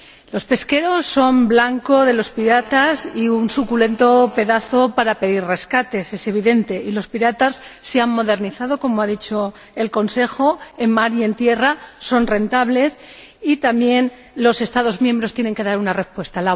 Los pesqueros son blanco de los piratas y un suculento pedazo para pedir rescates —es evidente— y los piratas se han modernizado, como ha dicho el Consejo, en mar y en tierra, son rentables y también los Estados miembros tienen que dar una respuesta.